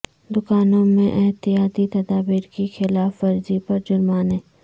دکانوں میں احتیاطی تدابیر کی خلاف ورزی پر جرمانے